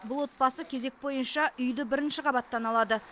бұл отбасы кезек бойынша үйді бірінші қабаттан алады